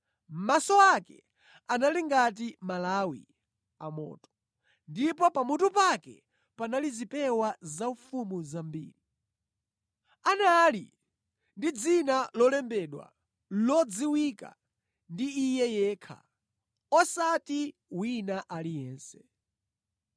Maso ake anali ngati malawi amoto, ndipo pamutu pake panali zipewa zaufumu zambiri. Anali ndi dzina lolembedwa, lodziwika ndi Iye yekha, osati wina aliyense.